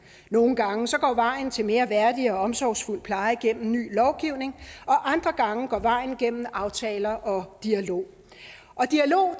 nogle gange går vejen til mere værdig og mere omsorgsfuld pleje gennem ny lovgivning og andre gange går vejen gennem aftaler og dialog og dialog